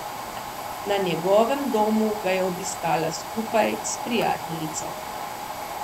Na njegovem domu ga je obiskala skupaj s prijateljico.